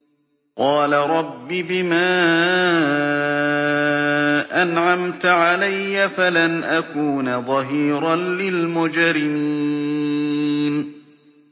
قَالَ رَبِّ بِمَا أَنْعَمْتَ عَلَيَّ فَلَنْ أَكُونَ ظَهِيرًا لِّلْمُجْرِمِينَ